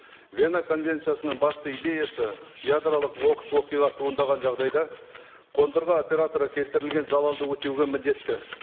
вена конвенциясының басты идеясы ядролық оқыс оқиға туындаған жағдайда қондырғы операторы келтірілген залалды өтеуге міндетті